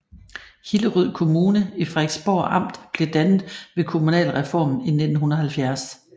Hillerød Kommune i Frederiksborg Amt blev dannet ved kommunalreformen i 1970